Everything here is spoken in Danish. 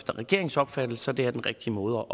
regeringens opfattelse den rigtige måde